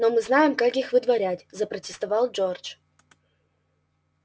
но мы знаем как их выдворять запротестовал джордж